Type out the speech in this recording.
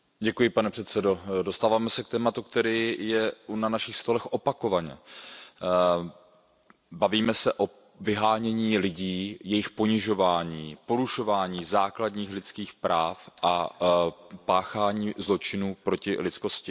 Pane předsedající, dostáváme se k tématu, které je na našich stolech opakovaně. Bavíme se o vyhánění lidí, jejich ponižování, porušování základních lidských práv a páchání zločinů proti lidskosti.